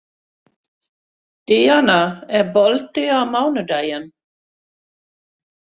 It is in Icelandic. Díana, er bolti á mánudaginn?